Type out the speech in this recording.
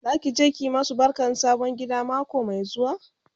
Zaki je ki masu barkan sabon gida mako Mai zuwa?